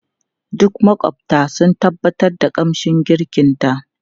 Duk makwabta sun tabbatar da kamshin girkinta.